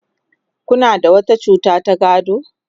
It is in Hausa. Kuna da wata cuta ta gado?